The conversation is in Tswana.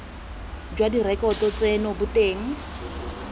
jwa direkoto tseno bo teng